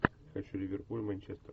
хочу ливерпуль манчестер